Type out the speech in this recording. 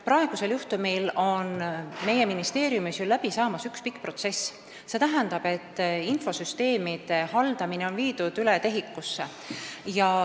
Praegusel juhtumil hakkab meie ministeeriumis läbi saama üks pikk protsess: infosüsteemide haldamine on viidud üle TEHIK-usse.